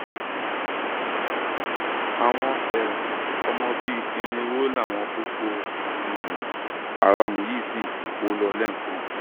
àwọn um ọmọ bíi irínwó làwọn boko um haram yìí sì kó lọ lẹẹkan